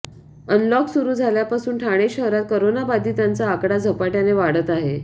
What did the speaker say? unlock सुरू झाल्यापासून ठाणे शहरात कोरोनाबाधितांचा आकडा झपाट्याने वाढत आहे